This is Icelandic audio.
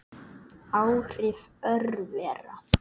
Áhrif örvera